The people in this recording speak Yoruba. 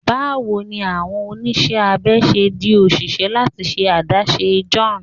Bawo ni awọn oniṣẹ abẹ ṣe di oṣiṣẹ lati ṣe adaṣe?m John